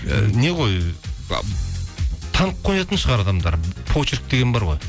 і не ғой танып қоятын шығар адамдар почерк деген бар ғой